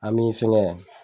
An mi fɛngɛ